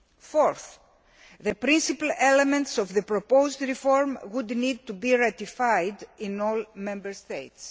Fourth, the principal elements of the proposed reform would need to be ratified in all Member States.